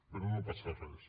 però no passa res